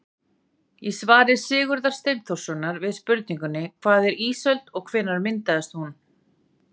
Í svari Sigurðar Steinþórssonar við spurningunni Hvað er ísöld og hvenær myndast hún?